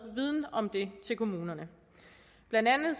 viden om det til kommunerne blandt andet